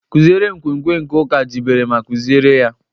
Kụziere nkwenkwe nke Ụka jibere ma kuziere ya.